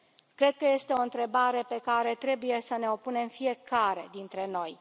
Cred că este o întrebare pe care trebuie să ne o punem fiecare dintre noi.